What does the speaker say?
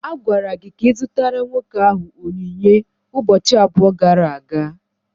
A gwara gị ka ị zụtara nwoke ahụ onyinye ụbọchị abụọ gara aga.